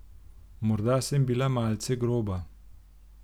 Morda sem bila malce groba.